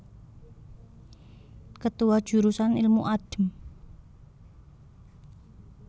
Ketua Jurusan Ilmu Adm